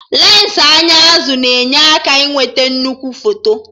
Lensị anya azụ na-enyere aka ịnweta nnukwu foto